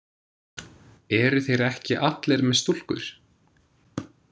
Eru þeir ekki allir með stúlkur?